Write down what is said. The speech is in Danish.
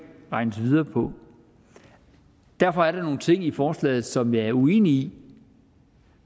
regnes videre på derfor er der nogle ting i forslaget som jeg er uenig i